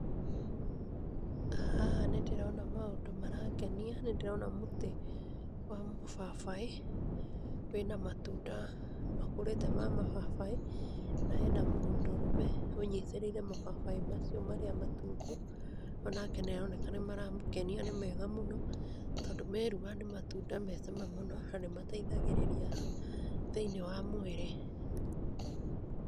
Haha nĩ ndĩrona maũndũ marangenia, nĩ ndĩrona mũtĩ wa mũbabaĩ wĩ na matunda makũrĩte ma mababaĩ na he na mũndũrũme ũnyitĩrĩire mababaĩ macio marĩa matungu o nake nĩ aroneka nĩ maramũkenia nĩ mega mũno tondũ merua nĩ matunda me cama mũno na nĩ mateithagĩrĩria thĩinĩ wa mwĩrĩ.